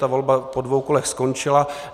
Ta volba po dvou kolech skončila.